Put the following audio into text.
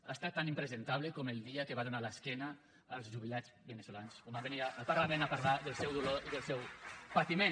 ha estat tan impresentable com el dia que va donar l’esquena als jubilats veneçolans quan van venir al parlament a parlar del seu dolor i del seu patiment